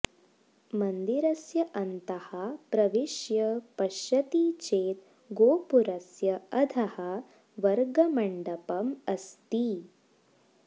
मन्दिरस्य अन्तः प्रविश्य पश्यति चेत् गोपुरस्य अधः वर्गमण्डपम् अस्ति